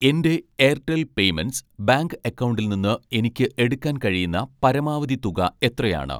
എൻ്റെ Airtel payments bank അക്കൗണ്ടിൽ നിന്ന് എനിക്ക് എടുക്കാൻ കഴിയുന്ന പരമാവധി തുക എത്രയാണ്?